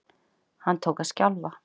Hún tók að skjálfa.